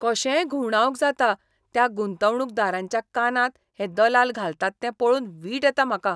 कशेय घुवंडावंक जाता त्या गुंतवणूकदारांच्या कानांत हे दलाल घालतात तें पळोवन वीट येतात म्हाका.